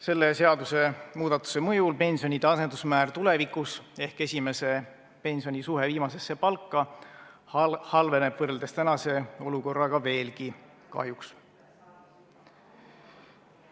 Selle seadusemuudatuse mõjul tulevikus pensionide asendusmäär ehk esimese pensioni suhe viimasesse palka halveneb võrreldes tänase olukorraga veelgi, kahjuks.